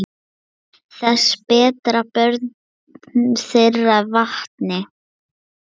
Þess bera börn þeirra vitni.